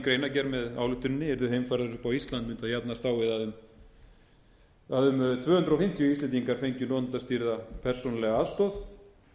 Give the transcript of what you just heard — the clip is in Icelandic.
greinargerð með ályktuninni yrðu heimfærðar upp á ísland mundu jafnast á við að um tvö hundruð fimmtíu íslendingar fengju notendastýrða persónulega aðstoð